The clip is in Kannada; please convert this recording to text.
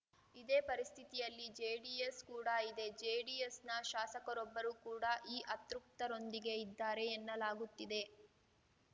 ಇದೇ ಪರಿಸ್ಥಿತಿಯಲ್ಲಿ ಜೆಡಿಎಸ್‌ ಕೂಡ ಇದೆ ಜೆಡಿಎಸ್‌ನ ಶಾಸಕರೊಬ್ಬರು ಕೂಡ ಈ ಅತೃಪ್ತರೊಂದಿಗೆ ಇದ್ದಾರೆ ಎನ್ನಲಾಗುತ್ತಿದೆ